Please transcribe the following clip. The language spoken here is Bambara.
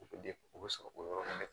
O bɛ o bɛ sɔrɔ o yɔrɔ la dɛ